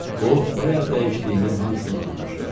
O bayaq dəyişdiyimin hamısını udmuşdu.